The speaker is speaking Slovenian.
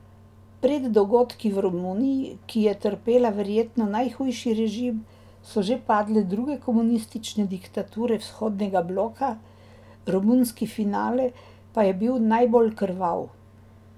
Pred dogodki v Romuniji, ki je trpela verjetno najhujši režim, so že padle druge komunistične diktature vzhodnega bloka, romunski finale pa je bil najbolj krvav.